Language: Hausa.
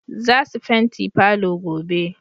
Zasu fenti palour gobe